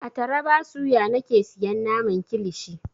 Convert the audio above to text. A taraba suya nake siyan naman kilishi.